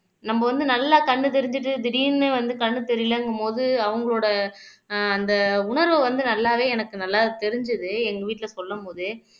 நம்ம வந்து நல்லா கண்ணு தெரிஞ்சுட்டு திடீர்ன்னு வந்து கண்ணு தெரியலேங்கும்போது அவங்களோட அந்த உணர்வு வந்து நல்லாவே எனக்கு நல்லா தெரிஞ்சுது எங்க வீட்டுல சொல்லும் போதே